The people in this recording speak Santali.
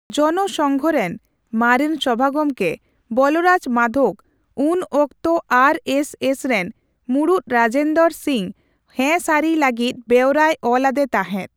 ᱡᱚᱱᱚ ᱥᱚᱝᱜᱷ ᱨᱮᱱ ᱢᱟᱨᱮᱱ ᱥᱚᱵᱷᱟᱜᱚᱢᱠᱮ ᱵᱚᱞᱚᱨᱟᱡᱽ ᱢᱟᱫᱷᱳᱠ ᱩᱱ ᱚᱠᱛᱚ ᱟᱨᱹ ᱮᱥᱹ ᱮᱥ ᱨᱮᱱ ᱢᱩᱲᱩᱛ ᱨᱟᱡᱮᱱᱫᱚᱨᱚ ᱥᱤᱝ ᱦᱮᱸ ᱥᱟᱹᱨᱤᱭ ᱞᱟᱹᱜᱤᱫ ᱵᱮᱣᱨᱟᱭ ᱚᱞ ᱟᱫᱮ ᱛᱟᱸᱦᱮᱫ ᱾